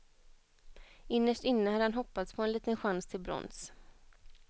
Innerst inne hade han hoppats på en liten chans till brons.